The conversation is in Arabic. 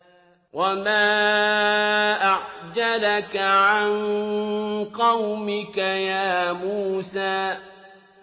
۞ وَمَا أَعْجَلَكَ عَن قَوْمِكَ يَا مُوسَىٰ